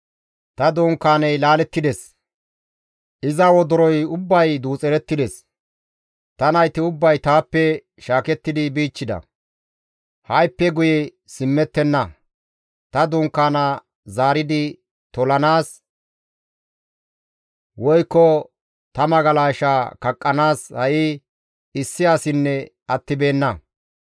Ta dunkaaney laalettides; iza wodoroy ubbay duuxerettides. Ta nayti ubbay taappe shaakettidi bichchida; hayssafe guye simmettenna; ta dunkaana zaaridi tolanaas woykko ta magalasha kaqqanaas ha7i issi asinne attibeenna.